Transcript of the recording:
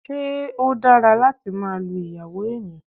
Ṣé ó dára láti máa lu ìyàwó èèyàn?